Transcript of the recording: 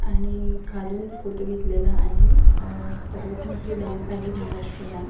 आणि खालून फोटो घेतलेला आहे आणि सर्वात मोठी बँक आहे महाराष्ट्र बँक .